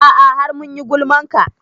A'a har mun yi gulman ka